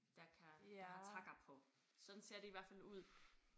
Der kan der har takker på sådan ser det i hvert fald ud